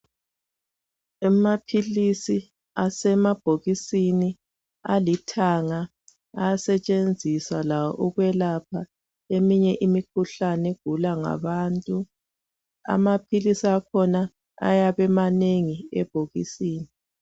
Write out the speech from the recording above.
Amaphilisi asemabhokisini alithanga, asetshenziswa lawo ukwelapha imikhuhlane egulwa ngabantu. Amaphilisi akhona ayabe emanengi ebhokisini